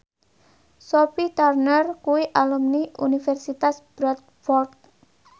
Sophie Turner kuwi alumni Universitas Bradford